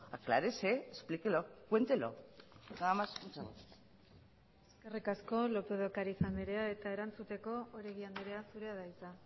aclárese explíquelo cuéntelo nada más muchas gracias eskerrik asko lópez de ocariz andrea eta erantzuteko oregi anderea zurea da hitza